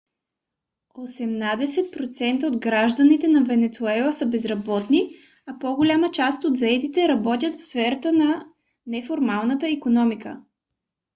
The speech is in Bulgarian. осемнадесет процента от гражданите на венецуела са безработни а по-голямата част от заетите работят в сферата на неформалната икономика